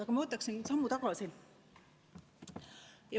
Aga ma astun sammu tagasi.